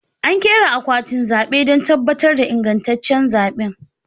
An ƙera akwatin zaɓe don tabbatar da ingantaccen zaɓe